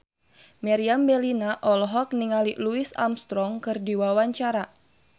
Meriam Bellina olohok ningali Louis Armstrong keur diwawancara